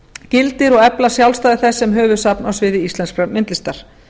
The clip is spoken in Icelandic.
gildir og efla sjálfstæði þess sem höfuðsafns á sviði íslenskrar myndlistar